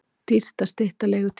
Dýrt að stytta leigutímann